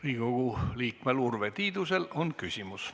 Riigikogu liikmel Urve Tiidusel on küsimus.